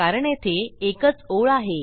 कारण येथे एकच ओळ आहे